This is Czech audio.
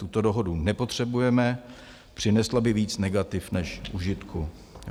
Tuto dohodu nepotřebujeme, přinesla by víc negativ než užitku.